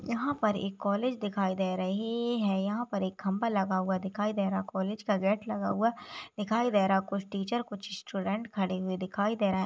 यहाँ पर एक कॉलेज दिखाई दे रही है यहाँ पर एक खंबा लगा हुआ दिखाई दे रहा कालेज का गेट लगा हुआ दिखाई दे रहा कुछ टीचर कुछ स्टूडेंट खड़े हुए दिखाई दे रहे--